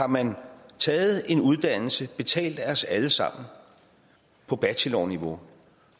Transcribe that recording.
man har taget en uddannelse betalt af os alle sammen på bachelorniveau